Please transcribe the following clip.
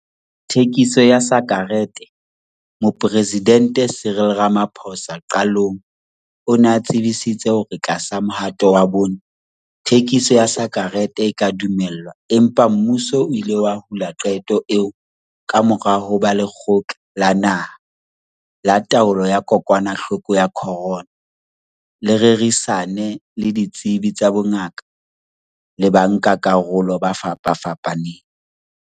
Thekiso ya sakereteMoporesidente Cyril Ramaphosa qalong o ne a tsebisitse hore tlasa Mohato wa Bone, thekiso ya sakerete e tla dumellwa empa mmuso o ile wa hula qeto eo kamora hoba Lekgotla la Naha la Taolo ya Kokwanahloko ya Corona le rerisane le ditsebi tsa bongaka le bankakarolo ba fapafapaneng.